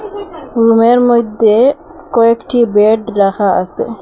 রুমের মইদ্যে কয়েকটি বেড রাখা আসে।